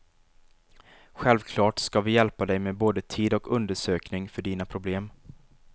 Självklart ska vi hjälpa dig med både tid och undersökning för dina problem.